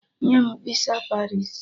Nye m visa Paris!